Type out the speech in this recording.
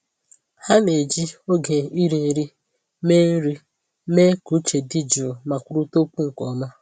Ha na-eji oge iri nri mee nri mee ka uche dị jụụ ma kwurịta okwu nke ọma.